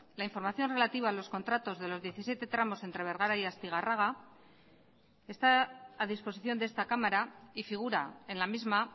la información relativa a los contratos de los diecisiete tramos entre bergara y astigarraga está a disposición de esta cámara y figura en la misma